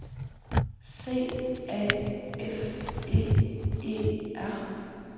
C A F E E R